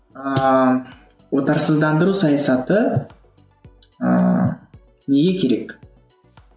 ыыы отарсыздандыру саясаты ыыы неге керек